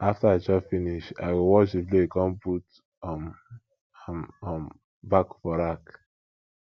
after i chop finish i go wash di plate con put um am um back for rack